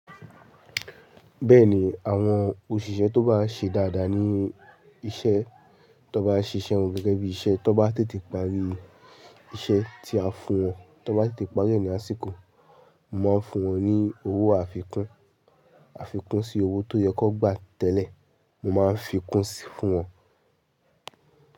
Bẹ́ẹ̀ ni, àwọn òṣìṣẹ́ tó bá ṣe dáadáa ní iṣẹ́, tó bá ṣiṣẹ́ wọn gẹ́gẹ́ bí iṣẹ́, tó bá tètè parí iṣẹ́ tí a fún wọn, tó bá tètè parí ẹ̀ ni àsìkò, mo máa ń fún wọn ní owó àfikún. Àfikún sí owó tó yẹ kó gbà tẹ́lẹ̀, mo máa ń fi kún sí fún wọn.